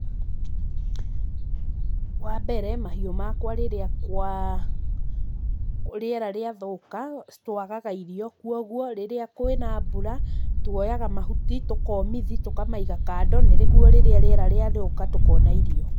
Wambere, mahiũ makwa rĩrĩa kwa, rĩera rĩathũka, ci, twagaga irio kwoguo rĩrĩa kwĩna mbura, twoyaga mahuti tũkamomithi, tũkamaiga kando nĩguo rĩrĩa rĩera rĩathũka tũkona irio.